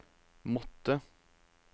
måttet